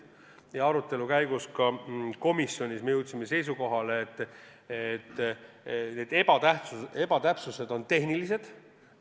Komisjonis peetud arutelu käigus jõudsime me seisukohale, et need ebatäpsused on tehnilised.